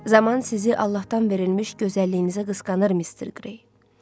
Zaman sizi Allahdan verilmiş gözəlliyinizə qısqanır, Mister Grey.